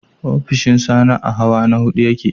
Ofishin Sani a hawa na huɗu ya ke.